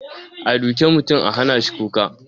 A duke mutum a hanashi kuka?